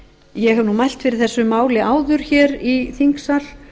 ég hef nú mælt fyrir þessu máli áður hér í þingsal